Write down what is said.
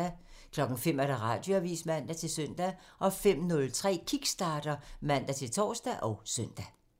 05:00: Radioavisen (man-søn) 05:03: Kickstarter (man-tor og søn)